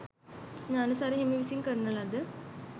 ඤාණසාර හිමි විසින් කරන ලද